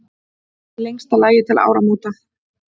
Í lengsta lagi til áramóta.